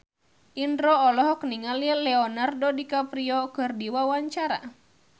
Indro olohok ningali Leonardo DiCaprio keur diwawancara